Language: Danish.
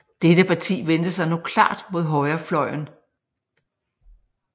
Dette parti vendte sig nu klart mod højrefløjen